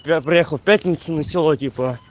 я приехал в пятницу на сило типо